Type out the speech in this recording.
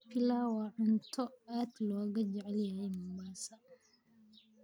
Pilau waa cunto aad looga jecel yahay Mombasa